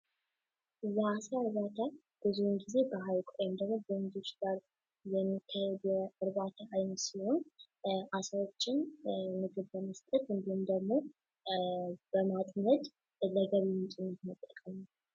የአሳ እርባታ ብዙን ጊዜ በሀይቅ ወይንም ደግሞ በወንዞች ላይ የሚካሄድ የእርባታ አይነት ሲሆን አሳወችን ምግብ በመስጠት እንዲሁም ደግሞ በማጥመድ ለገቢ ምንጭነት መጠቀም ነዉ።